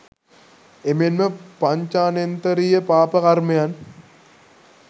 එමෙන්ම පංචානෙන්තරිය පාප කර්මයන්